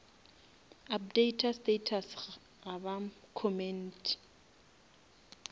updata status ga ba commente